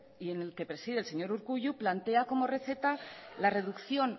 y en el que preside el señor urkullu plantea como receta la reducción